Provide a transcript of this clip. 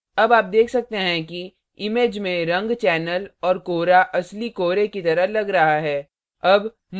अब आप देख सकते हैं कि image में रंग चैनल और कोहरा असली कोहरे की तरह लग रहा है